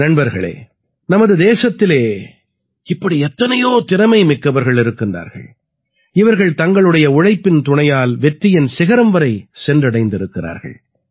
நண்பர்களே நமது தேசத்திலே இப்படி எத்தனையோ திறமை மிக்கவர்கள் இருக்கிறார்கள் இவர்கள் தங்களுடைய உழைப்பின் துணையால் வெற்றியின் சிகரம் வரை சென்றடைந்திருக்கிறார்கள்